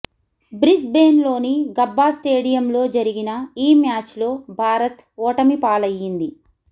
Brisbane లోని Gabba స్టేడియంలో జరిగిన ఈ మ్యాచ్ లో భారత్ ఓటమిపాలయ్యింది